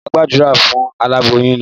Máa Gbàdúrà fún aláboyún naa